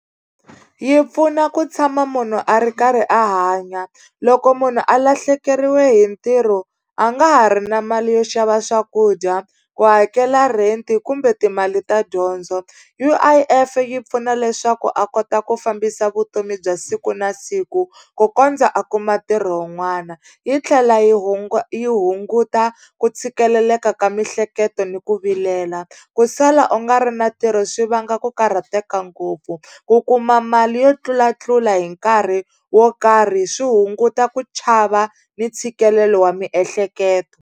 Yi pfuna ku tshama munhu a ri karhi a hanya loko munhu a lahlekeriwe hi ntirho a nga ha ri na mali yo xava swakudya ku hakela rent kumbe timali ta dyondzo U_I_F yi pfuna leswaku a kota ku fambisa vutomi bya siku na siku ku kondza a kuma ntirho wun'wana yi tlhela yi yi hunguta ku tshikeleleka ka mihleketo ni ku vilela ku sala u nga ri na ntirho swi vanga ku karhateka ngopfu ku kuma mali yo tlulatlula hi nkarhi wo karhi swi hunguta ku chava ni ntshikelelo wa miehleketo.